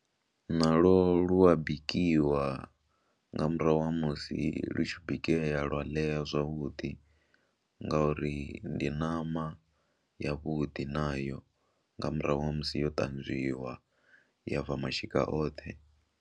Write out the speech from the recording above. Nalwo lu a bikiwa nga murahu ha musi lu tshi bikea lwa ḽea zwavhuḓi ngauri ndi ṋama yavhuḓi nayo, nga murahu ha musi yo ṱanzwiwa ya bva mashika oṱhe.